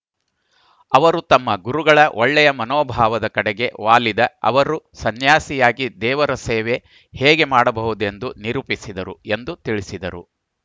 ಅವರು ತಮ್ಮ ಗುರುಗಳ ಒಳ್ಳೆಯ ಮನೋಭಾವದ ಕಡೆಗೆ ವಾಲಿದ ಅವರು ಸನ್ಯಾಸಿಯಾಗಿ ದೇವರಸೇವೆ ಹೇಗೆ ಮಾಡಬಹುದೆಂದು ನಿರೂಪಿಸಿದರು ಎಂದು ತಿಳಿಸಿದರು